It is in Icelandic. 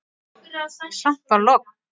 Samt var logn.